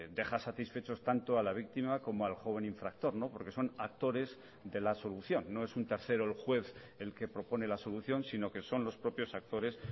deja satisfechos tanto a la víctima como al joven infractor porque son actores de la solución no es un tercero el juez el que propone la solución sino que son los propios actores